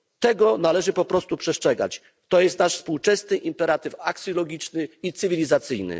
Tego należy po prostu przestrzegać, to jest nasz współczesny imperatyw aksjologiczny i cywilizacyjny.